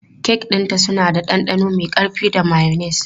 Kek ɗinta suna da ɗanɗano mai ƙarfi da mayonnaise.